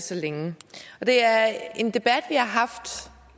så længe det er en debat vi har haft